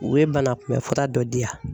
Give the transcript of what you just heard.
U ye banakunbɛn fura dɔ di yan.